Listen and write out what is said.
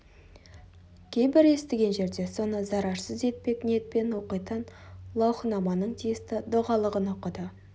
кейбір естіген жерде соны зарарсыз етпек ниетпен оқитын лаухынаманың тиісті дұғалығын оқыды